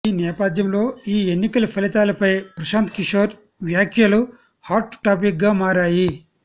ఈ నేపథ్యంలో ఈ ఎన్నికల ఫలితాలపై ప్రశాంత్ కిషోర్ వ్యాఖ్యలు హాట్ టాపిక్గా మారాయి